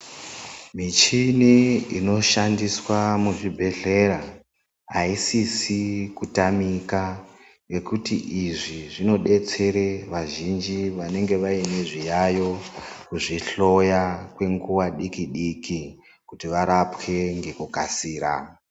Michini inoshandiswa muzvibhedhlera aisisi kutamika ngekuti izvi zvinodetsere vazhinji vanenge vane zviyaiyo, kuzvihloya kwenguva diki diki kuti varapwe nekukasira.